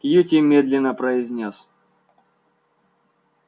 кьюти медленно произнёс